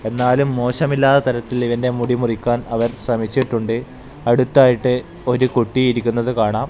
എന്നാലും മോശമില്ലാത്ത തരത്തിൽ ഇവൻ്റെ മുടി മുറിക്കാൻ അവൻ ശ്രമിച്ചിട്ടുണ്ട് അടുത്തായിട്ട് ഒരു കുട്ടി ഇരിക്കുന്നത് കാണാം.